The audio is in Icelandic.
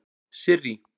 Sirrý